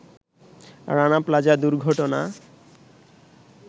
Rana Plaza দুর্ঘটনা